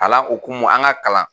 Alan okumu an ka kalan.